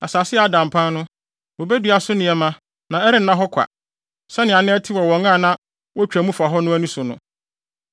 Asase a ada mpan no, wobedua so nneɛma na ɛrenna hɔ kwa sɛnea na ɛte wɔ wɔn a na wotwa mu fa hɔ no ani so no.